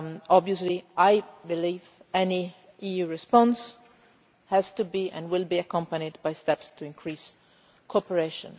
Obviously I believe any EU response has to be, and will be, accompanied by steps to increase cooperation.